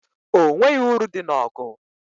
O nweghị uru dị n'ọgụ.